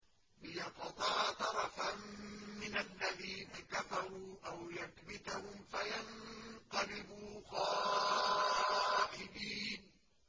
لِيَقْطَعَ طَرَفًا مِّنَ الَّذِينَ كَفَرُوا أَوْ يَكْبِتَهُمْ فَيَنقَلِبُوا خَائِبِينَ